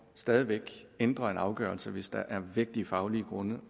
stadig væk ændre en afgørelse hvis der er vægtige faglige grunde